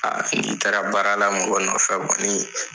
n'i taara baara la mɔgɔ nɔfɛ kɔni